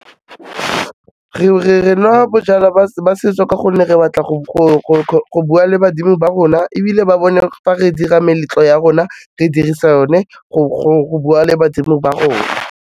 Re nwa bojalwa ba setso ka gonne re batla go bua le badimo ba rona ebile ba bone fa re dira meletlo ya rona re dirisa o ne go bua le badimo ba rona.